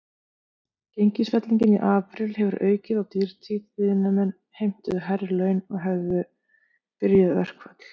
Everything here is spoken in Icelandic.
Gengisfellingin í apríl hefði aukið á dýrtíð, iðnaðarmenn heimtuðu hærri laun og hefðu byrjað verkföll.